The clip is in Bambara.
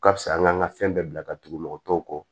Ka fisa an kan ka fɛn bɛɛ bila ka tugu mɔgɔtɔw kɔ